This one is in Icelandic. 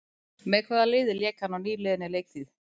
Með hvaða liði lék hann á nýliðinni leiktíð?